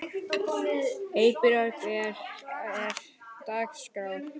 Eybjört, hvernig er dagskráin?